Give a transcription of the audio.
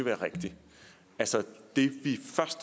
være rigtig altså det vi